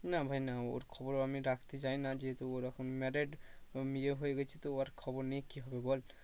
না ভাই না ওর খবর আমি রাখতে চাই না যেহেতু ওর এখন married এবং বিয়ে হয়ে গেছে তো আর খবর নিয়ে কি হবে বল?